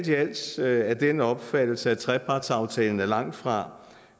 vi altså af den opfattelse at trepartsaftalen er langt fra